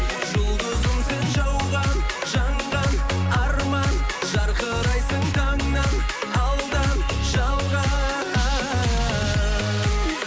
жұлдызым сен жауған жанған арман жарқырайсың таңнан алдан жалған